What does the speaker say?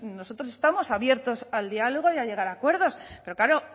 nosotros estamos abiertos al diálogo y a llegar a acuerdos pero claro